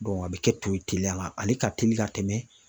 a bɛ kɛ to ye teliya la ale ka teli ka tɛmɛ